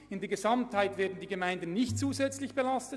In der Gesamtheit werden die Gemeinden nicht zusätzlich belastet.